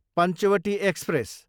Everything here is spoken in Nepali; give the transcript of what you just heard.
पञ्चवटी एक्सप्रेस